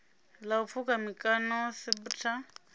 ḽa u pfukha mikano cbrta